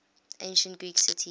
ancient greek cities